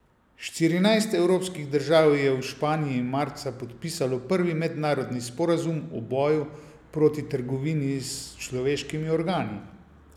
Štirinajst evropskih držav je v Španiji marca podpisalo prvi mednarodni sporazum o boju proti trgovini s človeškimi organi.